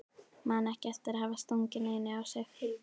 Man ekki eftir að hafa stungið neinu á sig.